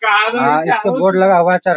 हां इसपे बोर्ड लगा हुआ चर --